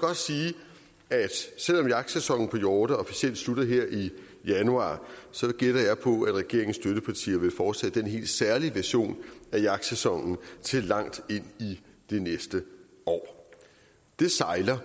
godt sige at selv om jagtsæsonen på hjorte officielt slutter her i januar så gætter jeg på at regeringens støttepartier vil fortsætte den helt særlige version af jagtsæsonen til langt ind i det næste år det sejler